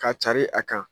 Ka carin a kan